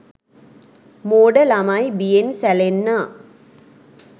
මෝඩ ළමයි බියෙන් සැලෙන්නා